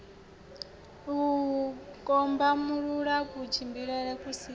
u kombamulula kutshilele ku si